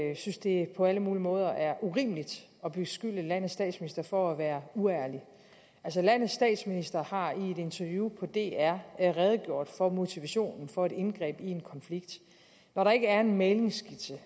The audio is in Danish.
jeg synes det på alle mulige måder er urimeligt at beskylde landets statsminister for at være uærlig altså landets statsminister har i et interview på dr redegjort for motivationen for et indgreb i en konflikt når der ikke er en mæglingsskitse